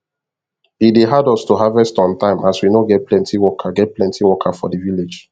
e dey hard us to harvest on time as we no get plenty worker get plenty worker for the village